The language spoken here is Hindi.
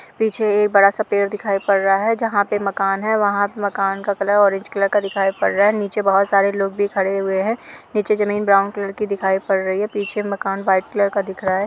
पीछे एक बड़ा-सा पेड़ दिखायी पड़ रहा है जहाँ पे मकान है। वहाँ पे मकान का कलर औरेंज कलर का दिखायी पड़ रहा है। नीचे बहोत सारे लोग भी खड़े हुए हैं। नीचे जमीन ब्राउन कलर की दिखायी पड़ रही है। पीछे मकान वाइट कलर का दिख रहा है।